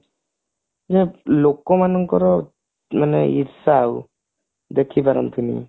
but ଲୋକମାନଙ୍କର ମାନେ ଈର୍ଷା ଆଉ ଦେଖିପାରନ୍ତିନି